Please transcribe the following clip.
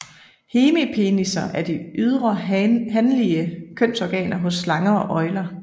Hemipenisser er de ydre hanlige kønsorganer hos slanger og øgler